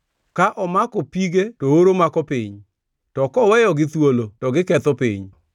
Ka omako pige to oro mako piny; to koweyogi thuolo to giketho piny.